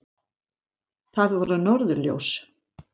Það voru norðurljós!